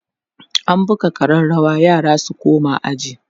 an buga ƙararawa yara su koma aji